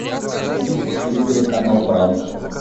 найди на телевизоре канал пранк